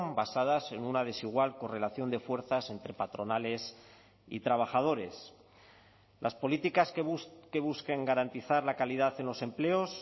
basadas en una desigual correlación de fuerzas entre patronales y trabajadores las políticas que busquen garantizar la calidad en los empleos